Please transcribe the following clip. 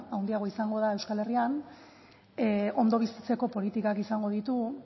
handiagoa izango da euskal herrian ondo bizitzeko politikak izango ditugu